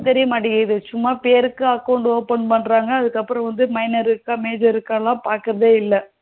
தெரிய மாட்டேங்குது சும்மா பேருக்கு account open பண்றோம் அதுக்கப்புறம் minor இருக்கா major இருகல பாக்குறதே இல்ல